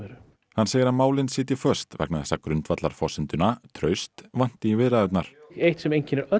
hann segir að málin sitji föst vegna þess að grundvallarforsenduna traust vanti í viðræðurnar eitt sem einkennir öll